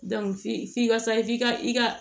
f'i f'i ka sa f'i ka i ka